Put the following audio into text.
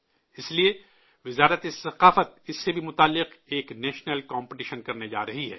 اس لیے، وزارت ثقافت اس سے بھی جڑا ایک قومی مقابلہ کرانے جا رہا ہے